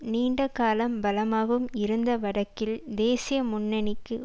நீண்ட காலம் பலமாகவும் இருந்த வடக்கில் தேசிய முன்னணிக்கு